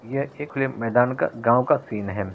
ये एक वे मैदान का गाँव का सीन है।